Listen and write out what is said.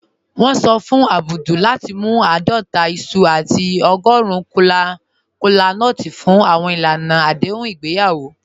Wọn sọ fún Abdul lati mú aadọta iṣu àti ọ̀gọ́run kọlánúts fún awọn ilànà adéhùn igbeyawo."